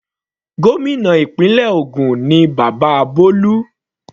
Gómìnà ìpínlẹ̀ ògùn ni bàbá Bolu.